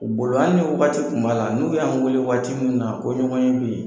U bolo hali ni wagati tun b'a la, n'u y'an weele wagati min na ko ɲɔgɔn ye be ye